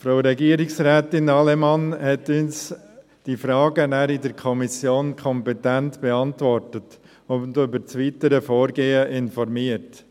Frau Regierungsrätin Allemann hat uns die Fragen in der Kommission kompetent beantwortet und über das weitere Vorgehen informiert.